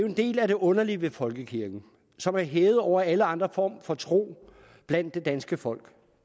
en del af det underlige ved folkekirken som er hævet over alle andre former for tro blandt det danske folk